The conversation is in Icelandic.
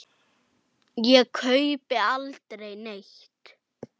Ég kaupi aldrei neitt.